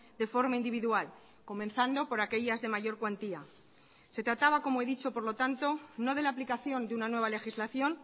de forma individual comenzando por aquellas de mayor cuantía se trataba como he dicho por lo tanto no de la aplicación de una nueva legislación